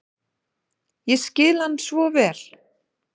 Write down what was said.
Ég skil hann svo vel.